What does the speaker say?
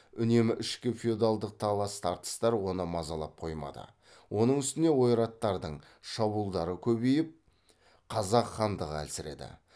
үнемі ішкі феодалдық талас тартыстар оны мазалап қоймады оның үстіне ойраттардың шабуылдары көбейіп қазақ хандығы әлсіреді